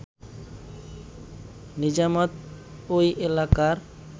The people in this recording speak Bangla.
নিজামত ওই এলাকার